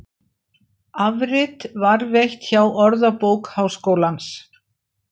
Afrit varðveitt hjá Orðabók Háskólans.